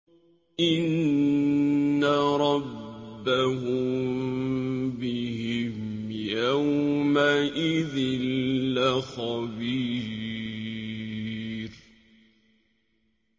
إِنَّ رَبَّهُم بِهِمْ يَوْمَئِذٍ لَّخَبِيرٌ